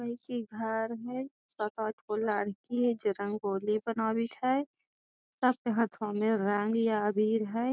कोई के घर ह सात आठगो लड़की ह जे रंगोली बनवत हई सबके हथवा में रंग या अबीर हई।